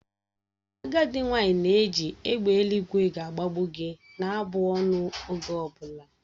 Agadị nwanyị na-eji "egbe eluigwe gbagbuo gi" na-abụ ọnụ oge ọ bụla